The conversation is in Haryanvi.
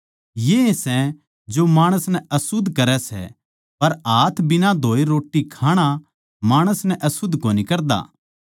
येए सै जो माणस नै अशुध्द करै सै पर हाथ बिना धोए रोट्टी खाणा माणस नै अशुध्द कोनी करदा